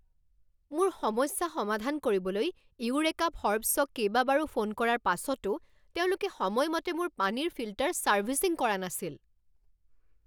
মোৰ সমস্যা সমাধান কৰিবলৈ ইউৰেকা ফ'ৰ্বছক কেইবাবাৰো ফোন কৰাৰ পাছতো তেওঁলোকে সময়মতে মোৰ পানীৰ ফিল্টাৰ ছাৰ্ভিচিং কৰা নাছিল।